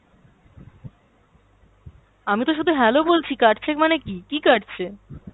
আমিতো শুধু hello বলছি, কাটছে মানে কী! কী কাটছে?